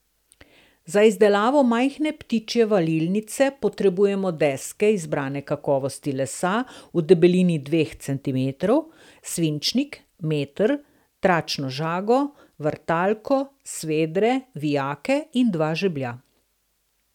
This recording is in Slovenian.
Za izdelavo majhne ptičje valilnice potrebujemo deske izbrane kakovosti lesa v debelini dveh centimetrov, svinčnik, meter, tračno žago, vrtalko, svedre, vijake in dva žeblja.